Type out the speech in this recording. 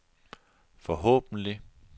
forhåbentlig